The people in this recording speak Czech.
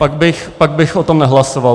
Pak bych o tom nehlasoval.